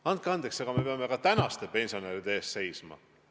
Andke andeks, aga me peame ka praeguste pensionäride eest seisma.